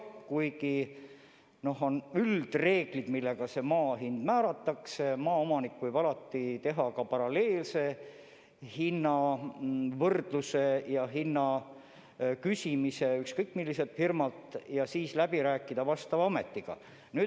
Kuigi on üldreeglid, millest lähtudes maa hind määratakse, võib maaomanik alati teha ka paralleelse hinnauuringu ja küsida hinna kohta ükskõik milliselt firmalt ja siis vastava ametiga läbi rääkida.